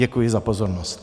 Děkuji za pozornost.